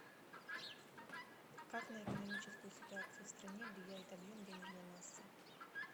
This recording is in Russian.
как на экономическую ситуацию в стране влияет объем денежной массы